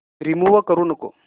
remove करू नको